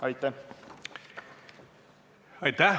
Aitäh!